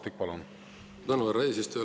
Suur tänu, härra eesistuja!